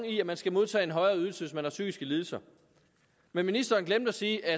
i at man skal modtage en højere ydelse hvis man har psykiske lidelser men ministeren glemte at sige at